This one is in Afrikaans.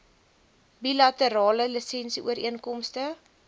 bilaterale lisensie ooreenkomste